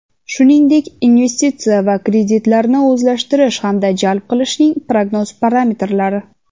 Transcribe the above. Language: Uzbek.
shuningdek investitsiyalar va kreditlarni o‘zlashtirish hamda jalb qilishning prognoz parametrlari;.